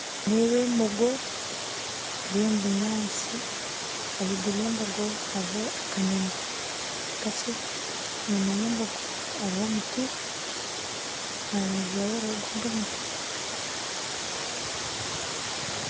Nindeeba embogo eri omu binyaatsi ahaiguru y'embogo hariyo akanyoonyi kakye enyima y'embogo hariyo omuti aharubaju rwayo hariho ogundi muti